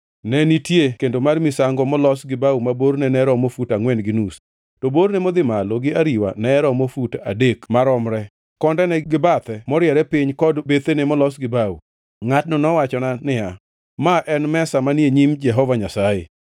Ne nitie kendo mar misango molos gi bao ma borne ne oromo fut angʼwen gi nus, to borne modhi malo gi ariwa ne oromo fut adek maromre, kondene gi bathe moriere piny kod bethene nolos gi bao. Ngʼatno nowachona niya, “Ma en mesa manie nyim Jehova Nyasaye.”